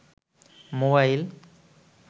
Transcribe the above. mobile